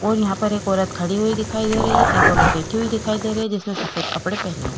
और यहाँ पर एक औरत खड़ी हुई दिखाई दे रही है। एक औरत बैठी हुई दिखाई दे रही है। जिस ने सफ़ेद कपड़े पहने हुए हैं।